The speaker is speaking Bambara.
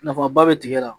Nafaba bɛ tigɛ la